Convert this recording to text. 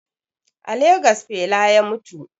A Legas fela ya mutu